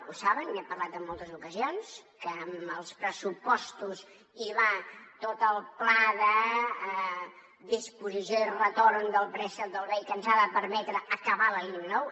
ho saben n’he parlat en moltes ocasions que amb els pressupostos hi va tot el pla de disposició i retorn del préstec del bei que ens ha de permetre acabar la línia nou